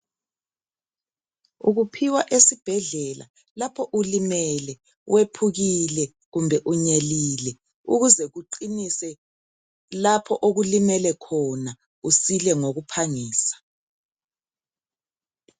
Ukuphiwa esibhedlela lapho ulimele ,wephukile kumbe unyelile ukuze kuqinise lapho okulimele khona usile ngokuphangisa .